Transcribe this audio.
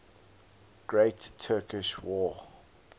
great turkish war